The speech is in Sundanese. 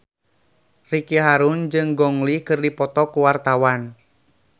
Ricky Harun jeung Gong Li keur dipoto ku wartawan